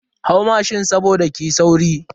Hau mashin saboda kiyi sauri.